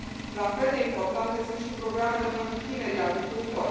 La fel de importante sunt și programele pentru tinerii agricultori.